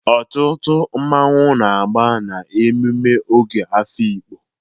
Ọtụtụ mmọnwụ na-agaba na mmemme Ogo Afikpo.